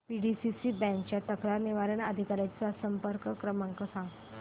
PDCC bank च्या तक्रार निवारण अधिकारी चा संपर्क क्रमांक सांग